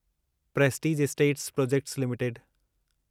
Prestige Estates Projects limited